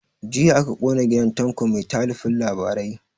Jiya aka kona gidan tanko mai talifin labarai